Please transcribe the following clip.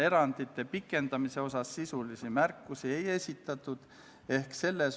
Esimene lugemine toimus k.a 25. septembril.